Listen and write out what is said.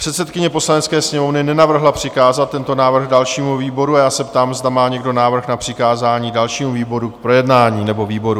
Předsedkyně Poslanecké sněmovny nenavrhla přikázat tento návrh dalšímu výboru a já se ptám, zda má někdo návrh na přikázání dalším výboru k projednání nebo výborům?